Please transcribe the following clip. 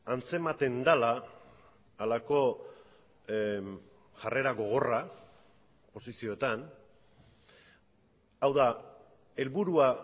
antzematen dela halako jarrera gogorra posizioetan hau da helburua